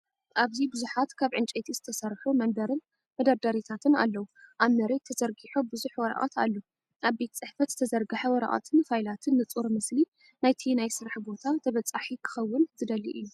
ኣብዚ ብዙሓት ካብ ዕንጨይቲ ዝተሰርሑ መንበርን መደርደሪታትን ኣለዉ። ኣብ መሬት ተዘርጊሑ ብዙሕ ወረቐት ኣሎ፣ ኣብ ቤት ጽሕፈት ዝተዘርግሐ ወረቐትን ፋይላትን ንጹር ምስሊ ናይቲ ናይ ስራሕ ቦታ ተበጻሒ ክኸውን ዝደሊ እዩ። .